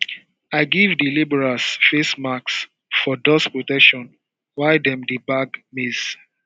i give di labourers face masks for dust protection while dem dey bag maize